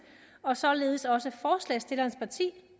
og således også